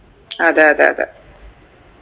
അതെ അതെ അതെ